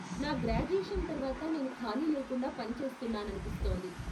నా గ్రాడ్యుయేషన్ తర్వాత నేను ఖాళీ లేకుండా పని చేస్తున్నాననిపిస్తోంది.